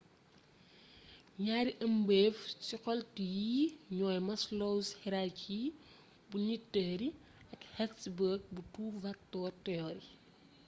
ñaari ëmbeef ci xeltu yi ñooy maslow's hierarchy bu needs theory ak hertzberg bu two factor theory